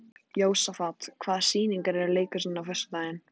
Jósafat, hvaða sýningar eru í leikhúsinu á föstudaginn?